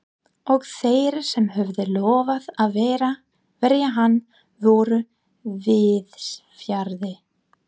Og þeir sem höfðu lofað að verja hann voru víðsfjarri.